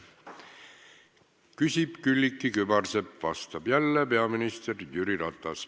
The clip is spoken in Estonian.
Küsib Külliki Kübarsepp ja vastab jälle peaminister Jüri Ratas.